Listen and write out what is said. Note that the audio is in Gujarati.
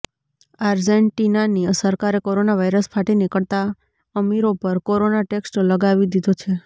આર્જેન્ટિનાની સરકારે કોરોના વાયરસ ફાટી નીકળતાં અમીરો પર કોરોના ટેક્સ લગાવી દીધો છે